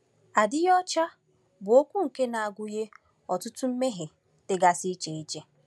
“Adịghị ọcha” bụ okwu nke na-agụnye ọtụtụ mmehie dịgasị iche iche.